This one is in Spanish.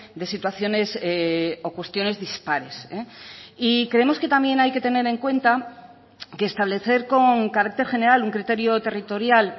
de situaciones o cuestiones dispares y creemos que también hay que tener en cuenta que establecer con carácter general un criterio territorial